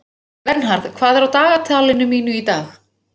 Palestínskir fangar snúa heim